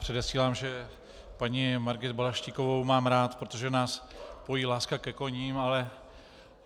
Předesílám, že paní Margit Balaštíkovou mám rád, protože nás pojí láska ke koním.